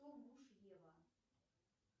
кто муж ева